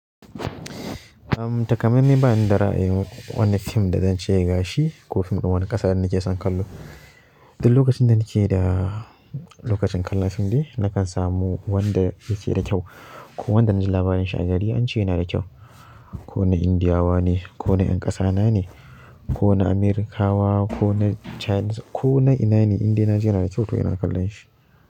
Takamai mai bani da ra'ayin wani fim da zan ce gashi ko fim ɗin wani ƙasa da nake son kallo. Duk lokacin da nake da lokacin kallon fim ne, nakan samu wanda yake da kyau ko wanda na ji labarin shi a gari an ce yana da kyau. Ko na Indiyawa ne, ko na ƴan ƙasa na ne, ko na Amerakawa, ko na China, ko na ina ne, indai na ji yana da kyau to ina kallon shi.